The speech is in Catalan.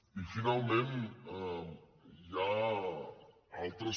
i finalment hi ha altres